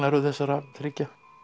þessara þriggja